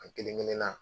An kelenkelenna